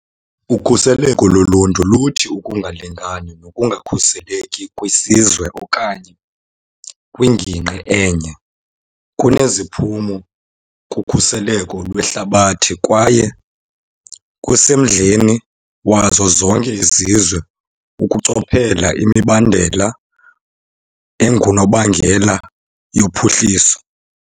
Ukhuseleko loluntu luthi ukungalingani nokungakhuseleki kwisizwe okanye kwingingqi enye kuneziphumo kukhuseleko lwehlabathi kwaye kusemdleni wazo zonke izizwe ukuchophela imibandela engunobangela yophuhliso.